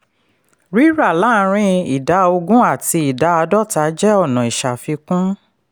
rírà láàrín ida ogún àti ida àádọ́ta jẹ́ ọ̀nà ìṣafikún.